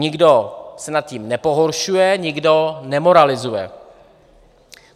Nikdo se nad tím nepohoršuje, nikdo nemoralizuje.